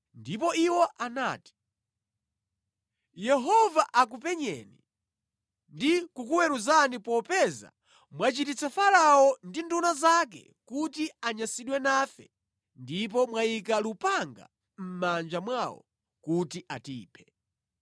ndipo iwo anati, “Yehova akupenyeni ndi kukuweruzani popeza mwachititsa Farao ndi nduna zake kuti anyansidwe nafe ndipo mwayika lupanga mʼmanja mwawo kuti atiphe.”